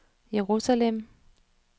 Jerusalem